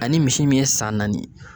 Ani misi min ye san naani ye.